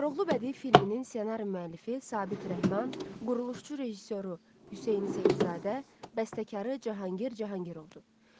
Koroğlu bədii filminin ssenari müəllifi Sabit Rəhman, quruluşçu rejissoru Hüseyn Seyidzadə, bəstəkarı Cahangir Cahangirovdur.